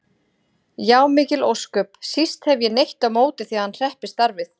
Já, mikil ósköp, síst hef ég neitt á móti því að hann hreppi starfið.